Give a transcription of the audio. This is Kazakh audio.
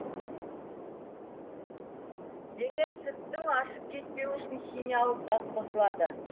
демек сүттің ашып кетпеуі үшін химиялық зат қосылады